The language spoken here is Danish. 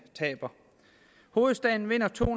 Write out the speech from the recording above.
taber hovedstaden vinder to